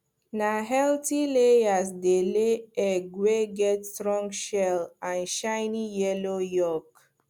na healthy layers dey lay egg wey get strong shell and shiny yellow yolk